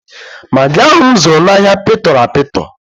Magị ahụ m zụrụ n'ahịa pịtọrọ apịtọ.